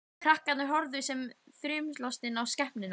Krakkarnir horfðu sem þrumulostin á skepnuna.